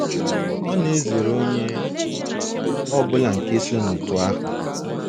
Ọ na - ezere onye ọ bụla nke so n’otu ahụ.